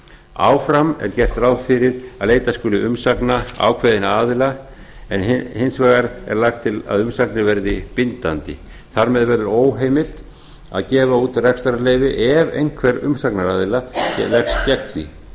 áfram er gert ráð fyrir að leita skuli umsagna ákveðinna aðila en hins vegar er lagt til að umsagnir verði bindandi þar með verður óheimilt að gefa út rekstrarleyfi ef einhver umsagnaraðila leggst gegn því